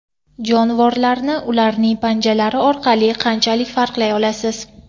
Jonivorlarni ularning panjalari orqali qanchalik farqlay olasiz?